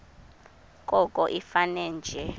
koko ifane nje